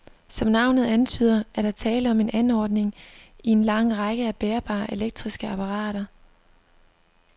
Som navnet antyder, er der tale om en anordning i en lang række af bærbare elektriske apparater.